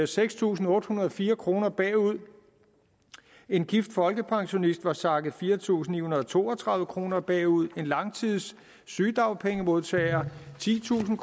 seks tusind otte hundrede og fire kroner bagud en gift folkepensionist var sakket fire tusind ni hundrede og to og tredive kroner bagud en langtidssygedagpengemodtager titusinde